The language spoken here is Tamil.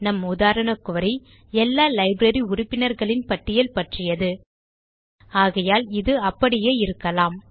நம் உதாரண குரி எல்லா லைப்ரரி உறுப்பினர்களின் பட்டியல் பற்றியது ஆகையால் இது அப்படியே இருக்கலாம்